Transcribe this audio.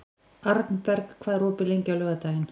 Arnberg, hvað er opið lengi á laugardaginn?